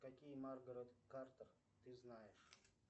какие маргарет картер ты знаешь